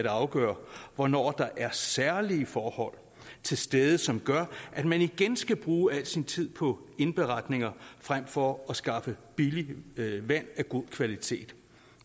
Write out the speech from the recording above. at afgøre hvornår der er særlige forhold til stede som gør at man igen skal bruge al sin tid på indberetninger frem for at skaffe billigt vand af god kvalitet